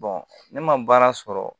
ne ma baara sɔrɔ